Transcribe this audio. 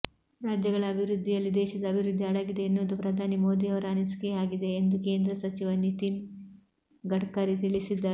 ರಾಜ್ಯಗಳ ಅಭಿವೃದ್ಧಿಯಲ್ಲಿ ದೇಶದ ಅಭಿವೃದ್ಧಿ ಅಡಗಿದೆ ಎನ್ನುವುದು ಪ್ರಧಾನಿ ಮೋದಿಯವರ ಅನಿಸಿಕೆಯಾಗಿದೆ ಎಂದು ಕೇಂದ್ರ ಸಚಿವ ನಿತೀನ್ ಗಡ್ಕರಿ ತಿಳಿಸಿದ್ದಾರೆ